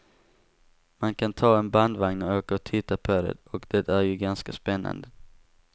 Man kan ta en bandvagn och åka och titta på det, och det är ju ganska spännande.